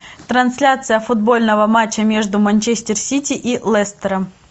трансляция футбольного матча между манчестер сити и лестером